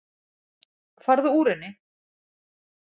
Farðu úr henni.